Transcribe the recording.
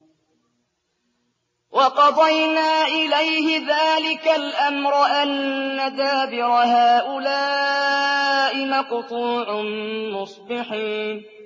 وَقَضَيْنَا إِلَيْهِ ذَٰلِكَ الْأَمْرَ أَنَّ دَابِرَ هَٰؤُلَاءِ مَقْطُوعٌ مُّصْبِحِينَ